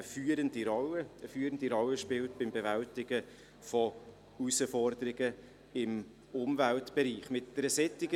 Zum Stichwort «Umwelt»: Hier soll der Kanton Bern beim Bewältigen von Herausforderungen im Umweltbereich eine führende Rolle spielen.